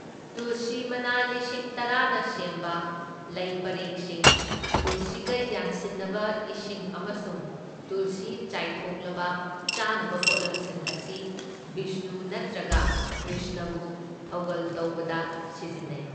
ꯇꯨꯜꯁꯤ ꯃꯅꯥ ꯂꯤꯁꯤꯡ ꯇꯔꯥꯅ ꯁꯦꯝꯕ ꯂꯩꯄꯔꯦꯡꯁꯤꯡ, ꯇꯨꯜꯁꯤꯒ ꯌꯥꯟꯁꯤꯟꯅꯕ ꯏꯁꯤꯡ ꯑꯃꯁꯨꯡ ꯇꯨꯜꯁꯤ ꯆꯥꯏꯊꯣꯡꯂꯕ ꯆꯥꯅꯕ ꯄꯣꯠꯂꯝꯁꯤꯡ ꯑꯁꯤ ꯕꯤꯁꯅꯨ ꯅꯠꯇ꯭ꯔꯒ ꯀ꯭ꯔ꯭ꯤꯁꯅꯕꯨ ꯊꯧꯒꯜ ꯇꯧꯕꯗ ꯁꯤꯖꯤꯟꯅꯩ꯫